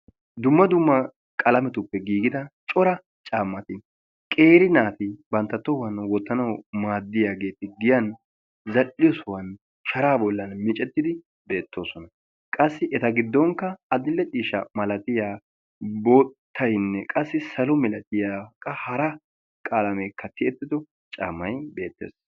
dumma dumma qalametuppe giigida cora caammati qeeri naati bantta tohuwan wottanawu maaddiyageeti giyan zal'iyo sohuwan sharaa bollan micettidi beettoosona. qassi eta giddonkka adil'e ciishsha malatiya boottayinne qassi salo milatiya qa hara qalameekka tiyettido caammay beettes.